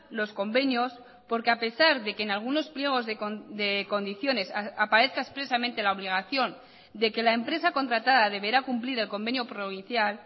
los convenios porque a pesar de que en algunos pliegos de condiciones aparezca expresamente la obligación de que la empresa contratada deberá cumplir el convenio provincial